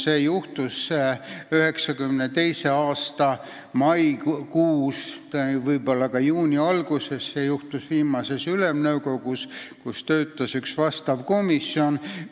See juhtus 1992. aasta maikuus või juuni alguses viimases Ülemnõukogus, kus töötas üks vastav komisjon.